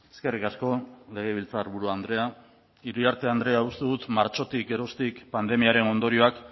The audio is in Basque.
eskerrik asko legebiltzarburu andrea iriarte andrea uste dut martxotik geroztik pandemiaren ondorioak